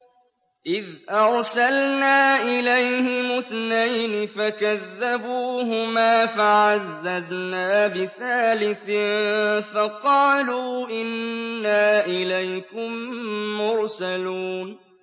إِذْ أَرْسَلْنَا إِلَيْهِمُ اثْنَيْنِ فَكَذَّبُوهُمَا فَعَزَّزْنَا بِثَالِثٍ فَقَالُوا إِنَّا إِلَيْكُم مُّرْسَلُونَ